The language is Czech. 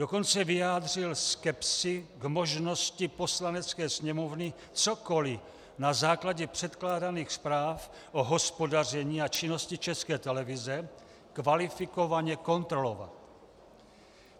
Dokonce vyjádřil skepsi k možnosti Poslanecké sněmovny cokoli na základě předkládaných zpráv o hospodaření a činnosti České televize kvalifikovaně kontrolovat.